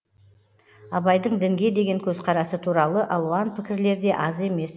абайдың дінге деген көзқарасы туралы алуан пікірлер де аз емес